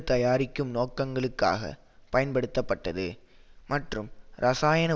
தயாரிக்கும் நோக்கங்களுக்காக பயன்படுத்தப்பட்டது மற்றும் இரசாயன